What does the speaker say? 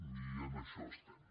i en això estem